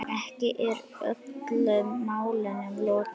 Ekki er öllum málum lokið.